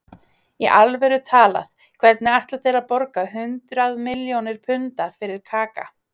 Í alvöru talað, hvernig ætla þeir að borga hundrað milljónir punda fyrir Kaka?